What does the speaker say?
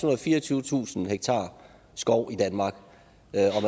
og fireogtyvetusind ha skov i danmark